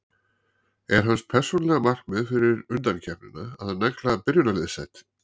Er hans persónulega markmið fyrir undankeppnina að negla byrjunarliðssæti?